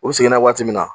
U seginna waati min na